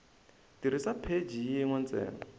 tirhisa pheji yin we ntsena